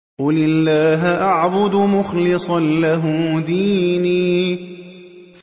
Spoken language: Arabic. قُلِ اللَّهَ أَعْبُدُ مُخْلِصًا لَّهُ دِينِي